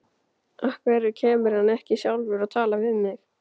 Af hverju kemur hann ekki sjálfur og talar við mig?